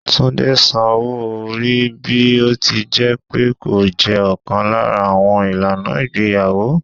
Túndé san owó-orí bí ó ti jẹ́ pé ó jẹ́ ọ̀kan lára àwọn ìlànà ìgbéyàwó.